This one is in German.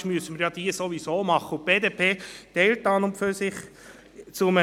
Ich nehme kurz zu den verschiedenen Vorschlägen Stellung.